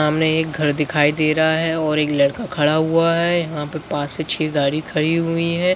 सामने एक घर दिखाई दे रहा है और एक लड़का खड़ा हुआ है यहाँ पे पाँच से छह गाड़ी खड़ी हुई हैं।